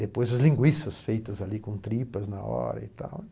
Depois as linguiças, feitas ali com tripas na hora e tal.